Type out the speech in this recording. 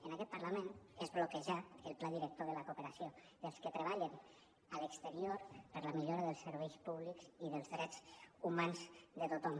en aquest parlament és bloquejar el pla director de la cooperació dels que treballen a l’exterior per la millora dels serveis públics i dels drets humans de tothom